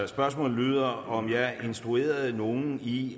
spørgsmålet lyder om jeg instruerede nogle i